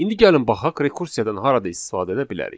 İndi gəlin baxaq rekursiyadan harada istifadə edə bilərik.